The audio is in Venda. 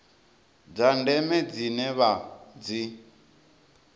dza ndeme dzine vha dzi